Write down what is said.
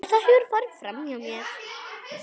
Þetta hefur farið framhjá mér!